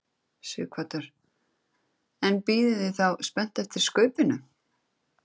Sighvatur: En bíðið þið þá spennt eftir skaupinu?